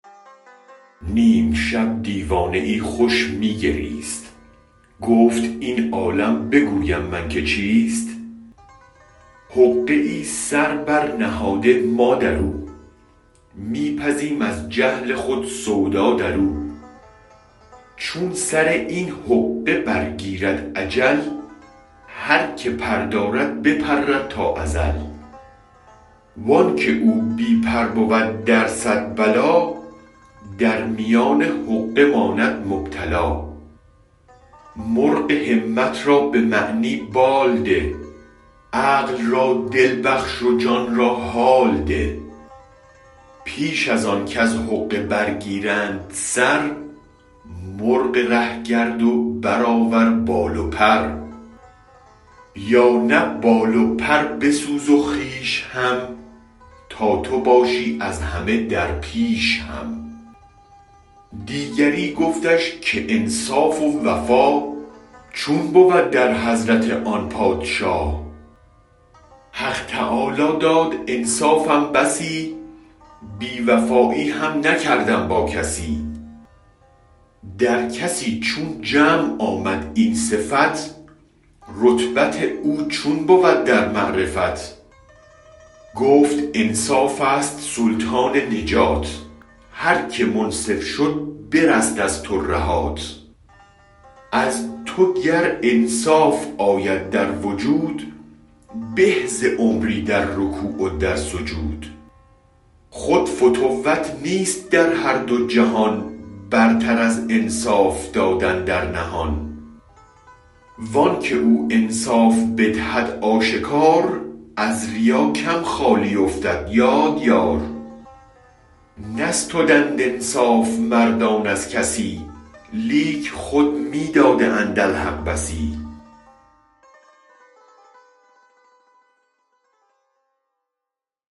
نیم شب دیوانه ای خوش می گریست گفت این عالم بگویم من که چیست حقه ای سر برنهاده ما درو می پزیم از جهل خود سودا درو چون سراین حقه برگیرد اجل هر که پر دارد بپرد تا ازل وانک او بی پر بود در صد بلا در میان حقه ماند مبتلا مرغ همت را به معنی بال ده عقل را دل بخش و جان را حال ده پیش از آن کز حقه برگیرند سر مرغ ره گرد و برآور بال و پر یا نه بال و پر بسوز و خویش هم تا تو باشی از همه در پیش هم دیگری گفتش که انصاف و وفا چون بود در حضرت آن پادشا حق تعالی داد انصافم بسی بی وفایی هم نکردم با کسی در کسی چون جمع آمد این صفت رتبت او چون بود در معرفت گفت انصافست سلطان نجات هر که منصف شد برست از ترهات از تو گر انصاف آید در وجود به ز عمری در رکوع و در سجود خود فتوت نیست در هر دو جهان برتر از انصاف دادن در نهان وانک او انصاف بدهد آشکار از ریا کم خالی افتد یاد دار نستدند انصاف مردان از کسی لیک خود می داده اند الحق بسی